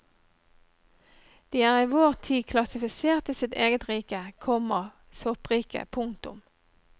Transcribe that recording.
De er i vår tid klassifisert i sitt eget rike, komma soppriket. punktum